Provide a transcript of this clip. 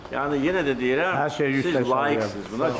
Yəni yenə də deyirəm, siz layiqsiniz buna.